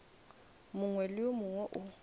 mongwe le yo mongwe o